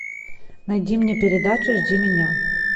найди мне передачу жди меня